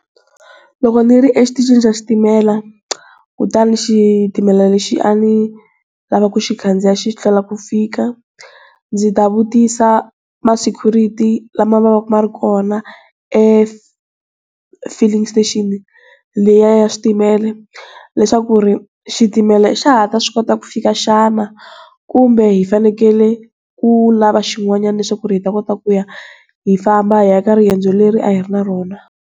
Loko ni ri exitichini xa xitimela kutani xitimela lexi a ni lava ku xi khandziya xi hlwela ku fika ndzi ta vutisa ma-security lama ma vaka ma ri kona e-filling station leyi ya switimela leswaku ri xitimela xa ha ta swi kota ku fika xana kumbe hi fanekele ku lava xin'wanyana leswaku hi ta kota ku ku ya hi famba hi ya eka riendzo leri a hi ri na rona.